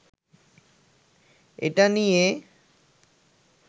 এটা নিয়ে